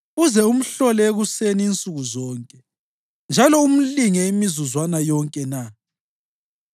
uze umhlole ekuseni insuku zonke njalo umlinge imizuzwana yonke na?